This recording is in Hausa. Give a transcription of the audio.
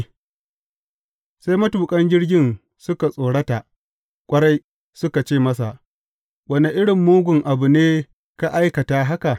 Sai matuƙan jirgin suka tsorata ƙwarai, suka ce masa, Wane irin mugun abu ne ka aikata haka?